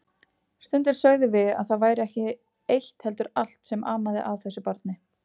Stundum sögðum við að það væri ekki eitt heldur allt sem amaði að þessu barni.